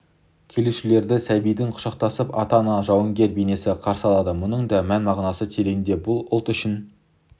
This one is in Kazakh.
келушілерді сәбиін құшақтаған ана мен жауынгер бейнесі қарсы алады мұның да мән-мағынасы тереңде бұл ұлт үшін